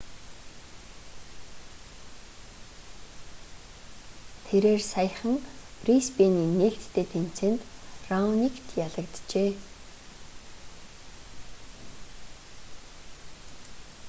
тэрээр саяхан брисбэйний нээлттэй тэмцээнд раоникт ялагджээ